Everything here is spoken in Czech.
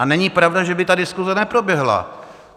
A není pravda, že by ta diskuse neproběhla.